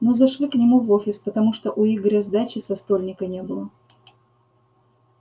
ну зашли к нему в офис потому что у игоря сдачи со стольника не было